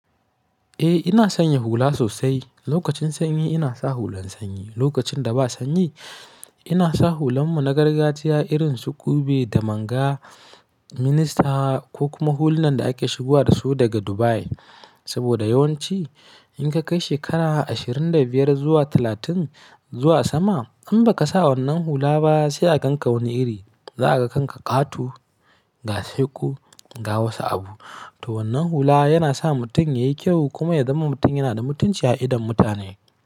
Eh ina sanya hula sosai. Lokacin sanyi ina sa hulan sanyi, lokacin da ba sanyi ina sa hulan mu na gargajiya irin su ƙube da manga, minista ko kuma hulan da ake shigowa dasu daga Dubai. Saboda yawanci in ka kai shekara ashirin da biyar zuwa talatin zuwa sama in ba ka sa wannan hula ba sai a kanka wani iri. Za a kanka ƙato, ga saiko ga wasu abu. To wannan hula yana sa mutum yayi kyau kuma ya zama mutum yana da mutunci a idon mutane.